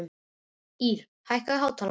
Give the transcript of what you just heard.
Ír, hækkaðu í hátalaranum.